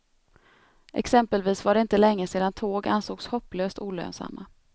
Exempelvis var det inte länge sedan tåg ansågs hopplöst olönsamma.